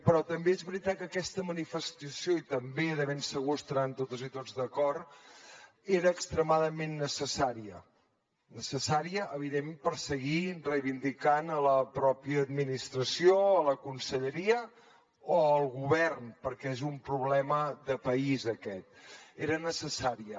però també és veritat que aquesta manifestació i també de ben segur que hi deuen estar totes i tots d’acord era extremadament necessària necessària evidentment per seguir reivindicant a la pròpia administració a la conselleria o al govern perquè és un problema de país aquest era necessària